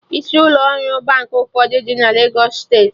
Isi ụlọ ọrụ Baankị ụfọdụ dị na Legos steeti